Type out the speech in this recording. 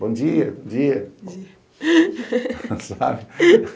Bom dia! Bom dia! Sabe?